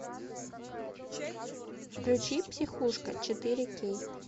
включи психушка четыре кей